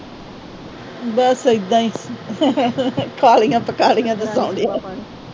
ਬੱਸ ਇਦਾਂ ਈ। ਖਾ ਲਈਆਂ, ਪੱਕਾ ਲਈਆਂ,